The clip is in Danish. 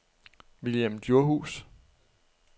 Vilhelm Djurhuus